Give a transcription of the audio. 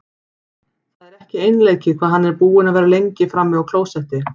Það er ekki einleikið hvað hann er búinn að vera lengi frammi á klósetti!